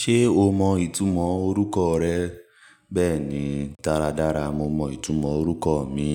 Ṣé o mọ ìtumọ̀ orúkọ rẹ? Bẹ́ẹ̀ni, dáradára mo mọ ìtumọ̀ orúkọ mi.